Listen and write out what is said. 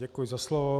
Děkuji za slovo.